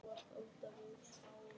Nú er að hrökkva eða stökkva.